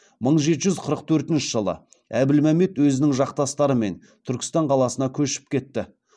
мың жеті жүз қырқыншы жылы әбілмәмбет өзінің жақтастарымен түркістан қаласына көшіп кетті